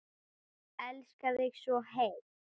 Elska þig svo heitt.